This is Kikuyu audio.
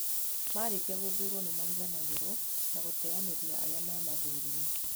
Marĩkia gũthurwo nĩmariganagĩrwo na gũteyanĩria arĩa mamathurire